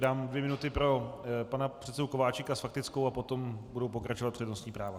Dám dvě minuty pro pana předsedu Kováčika s faktickou a potom budou pokračovat přednostní práva.